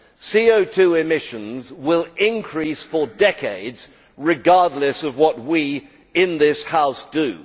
CO2 emissions will increase for decades, regardless of what we in this House do.